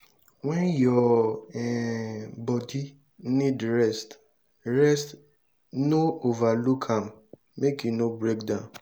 when your um body need rest rest no overlook am make you no breakdown